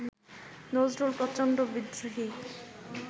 নজরুল প্রচণ্ড বিদ্রোহী